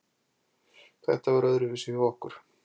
Þetta var öðruvísi hjá okkur.